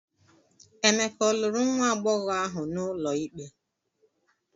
Emeka ọ lụrụ nwa agbọghọ ahụ n'ụlọ ikpe?